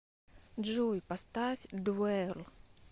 джой поставь двэл